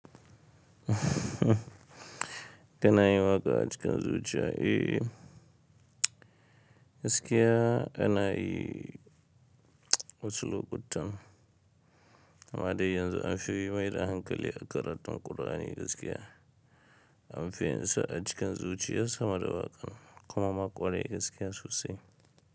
Ka na yin waƙa a cikin zuciya. Eh, gaskiya ana yi wasu lokutan. Amma dai yanzu an fi yi mai da hankali a karatun Kur'ani gaskiya. An fi yin sa a cikin zuciyar sama da waƙan, kuma mun ƙware gaskiya sosai.